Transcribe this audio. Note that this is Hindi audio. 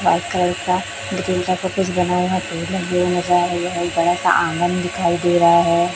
व्हाइट कलर का लेकिन इस पर कुछ बनाया गया है बड़ा आंगन दिखाई दे रहा है।